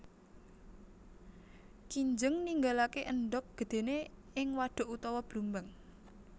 Kinjeng ninggalaké endhog gedhéné ing wadhuk utawa blumbang